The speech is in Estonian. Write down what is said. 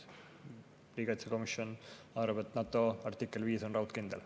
Riigikaitsekomisjon arvab, et NATO artikkel 5 on raudkindel.